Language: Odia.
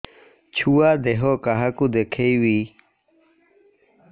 ଛୁଆ ଦେହ କାହାକୁ ଦେଖେଇବି